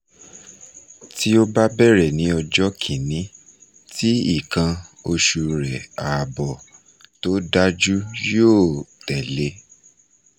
ti o ba bẹrẹ ni ọjọ kini ti ikan oṣu re aabo to daju yo tele